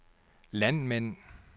landmænd